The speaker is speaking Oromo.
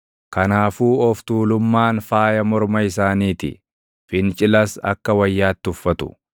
Kanaafuu of tuulummaan faaya morma isaanii ti; fincilas akka wayyaatti uffatu.